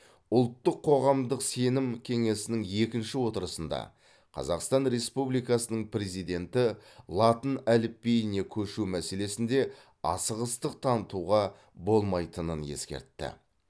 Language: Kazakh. ұлттық қоғамдық сенім кеңесінің екінші отырысында қазақстан республикасының президенті латын әліпбиіне көшу мәселесінде асығыстық танытуға болмайтынын ескертті